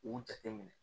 U jate minɛ